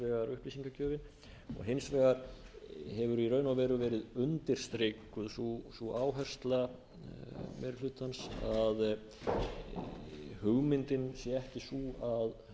upplýsingagjöfin og hins vegar hefur í raun og veru verið undirstrikuð sú áhersla meiri hlutans að hugmyndin sé ekki sú að